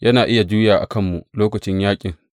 Yana iya juya a kanmu lokacin yaƙin.